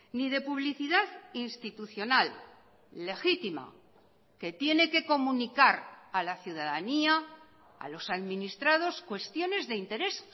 ni de publicidad institucional legítima que tiene que comunicar a la ciudadanía a los administrados cuestiones de interés